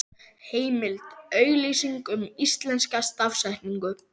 Heimild: Auglýsing um íslenska stafsetningu.